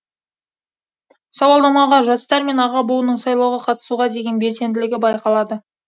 сауалнамаға жастар мен аға буынның сайлауға қатысуға деген белсенділігі байқалады